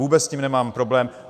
Vůbec s tím nemám problém.